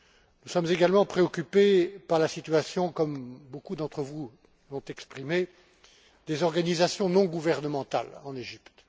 Nous sommes également préoccupés par la situation, comme beaucoup d'entre vous l'ont exprimé, des organisations non gouvernementales en Égypte.